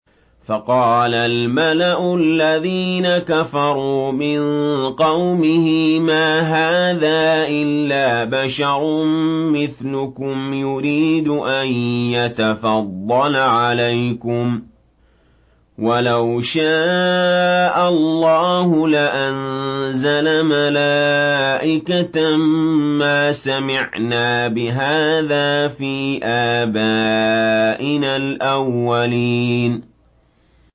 فَقَالَ الْمَلَأُ الَّذِينَ كَفَرُوا مِن قَوْمِهِ مَا هَٰذَا إِلَّا بَشَرٌ مِّثْلُكُمْ يُرِيدُ أَن يَتَفَضَّلَ عَلَيْكُمْ وَلَوْ شَاءَ اللَّهُ لَأَنزَلَ مَلَائِكَةً مَّا سَمِعْنَا بِهَٰذَا فِي آبَائِنَا الْأَوَّلِينَ